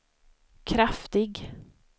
kraftig